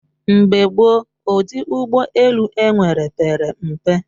Mgbe gboo, ụdị ụgbọ elu enwere pere mpe